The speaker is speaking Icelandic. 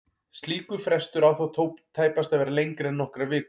Slíkur frestur á þó tæpast að vera lengri en nokkrar vikur.